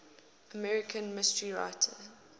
american mystery writers